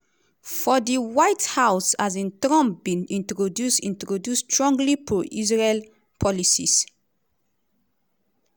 for di white house um trump bin introduce introduce strongly pro-israel policies.